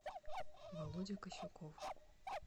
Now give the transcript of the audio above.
володя касюков